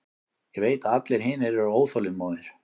Ég veit að allir hinir eru óþolinmóðir.